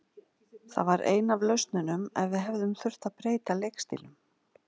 Það var ein af lausnunum ef við hefðum þurft að breyta leikstílnum.